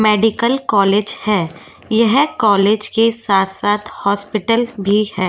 Medical college है यह college के साथ साथ हॉस्पिटल भी है।